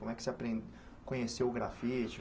Como é que você apren conheceu o grafite?